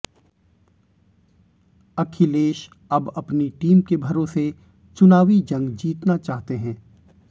अखिलेश अब अपनी टीम के भरोसे चुनावी जंग जीतना चाहते हैं